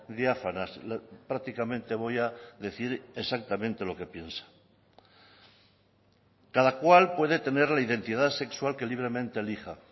diáfanas prácticamente voy a decir exactamente lo que piensa cada cual puede tener la identidad sexual que libremente elija